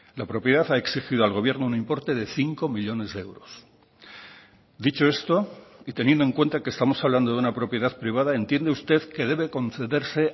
la propiedad ha exigido al gobierno un importe de cinco millónes de euros dicho esto y teniendo en cuenta que estamos hablando de una propiedad privada entiende usted que debe concederse